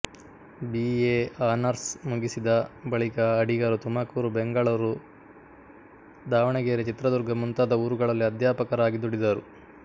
B A honours ಮುಗಿಸಿದ ಬಳಿಕ ಅಡಿಗರು ತುಮಕೂರು ಬೆಂಗಳೂರು ದಾವಣಗೆರೆ ಚಿತ್ರದುರ್ಗ ಮುಂತಾದ ಊರುಗಳಲ್ಲಿ ಅಧ್ಯಾಪಕರಾಗಿ ದುಡಿದರು